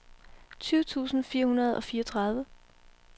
tyve tusind fire hundrede og fireogtredive